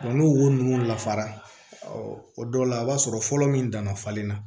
n'o wo ninnu lafara o dɔw la i b'a sɔrɔ fɔlɔ min danna falen na